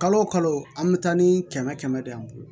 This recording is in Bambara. Kalo kalo an bɛ taa ni kɛmɛ kɛmɛ de ye an bolo